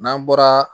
N'an bɔra